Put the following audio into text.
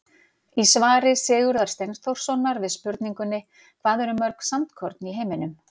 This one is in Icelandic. Í svari Sigurðar Steinþórssonar við spurningunni Hvað eru mörg sandkorn í heiminum?